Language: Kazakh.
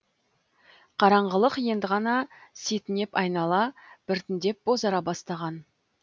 қараңғылық енді ғана сетінеп айнала біртіндеп бозара бастаған